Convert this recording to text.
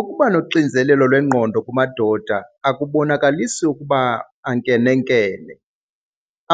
Ukuba noxinzelelo lwengqondo kumadoda akubonakalisi ukuba ankenenkene.